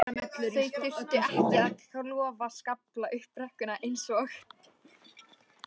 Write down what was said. Þau þurftu ekki að klofa skafla upp brekkuna eins og